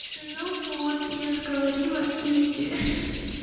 ну вот я ж говорила изи ха-ха